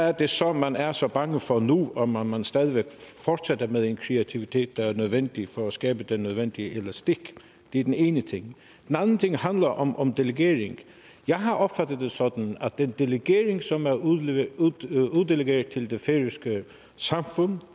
er det så man er så bange for nu om om man stadig fortsætter med en kreativitet der er nødvendig for at skabe den nødvendige elastik det er den ene ting den anden ting handler om om delegering jeg har opfattet det sådan at den delegering som er uddelegeret til det færøske samfund